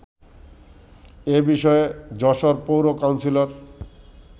এ বিষয়ে যশোর পৌর কাউন্সিলর